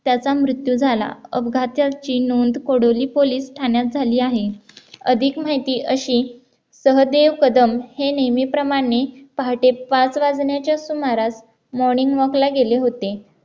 त्याचा मृत्यू झाला अपघाताची नोंद कोडोली पोलीस ठाण्यात झाली आहे अधिक माहिती अशी सहदेव कदम हे नेहमीप्रमाणे पहाटे पाच वाजण्याच्या सुमारास morning walk ला गेले होते